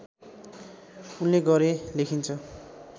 उनले गरे लेखिन्छ